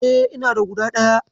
E, ina da guda ɗaya.